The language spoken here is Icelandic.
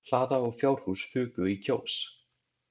Hlaða og fjárhús fuku í Kjós.